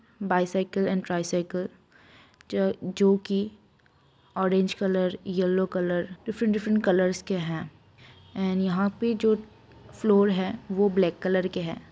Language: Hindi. बाइसाइकल एंड ट्राइसाइकल च जोकि orange colour yellow colour different different colours के हैं एंड यहाँ पे जो फ्लोर है वो ब्लैक कलर के है।